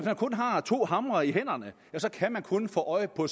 man kun har to hamre i hænderne kan man kun få øje på